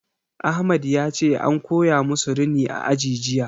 Ahmad yace an koya musu rini a aji jiya